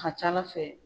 A ka ca ala fɛ